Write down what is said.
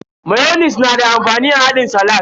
Mayonis na da amfani a haɗin salak.